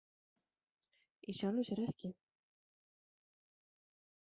Í sjálfu sér ekki.